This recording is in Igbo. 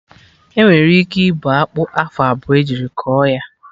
Enwere ike ịbọ akpụ afọ abụọ ejiri kọ ya